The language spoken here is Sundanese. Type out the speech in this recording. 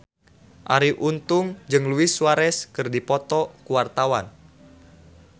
Arie Untung jeung Luis Suarez keur dipoto ku wartawan